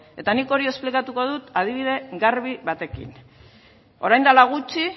eta nik hori esplikatuko dut adibide garbi batekin orain dela gutxi